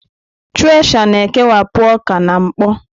Thresha na-ekewapụ ọka na mkpọ.